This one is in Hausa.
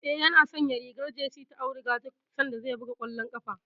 Eh, yana sanya rigar jesi ta auduga duk sanda zai buga kwallon ƙafa.